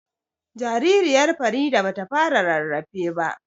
Jaririyar Farida ba ta fara rarrafe ba